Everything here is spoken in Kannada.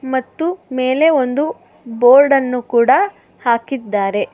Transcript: ಮತ್ತು ಮೇಲೆ ಒಂದು ಬೋರ್ಡನ್ನು ಕೂಡ ಹಾಕಿದ್ದಾರೆ.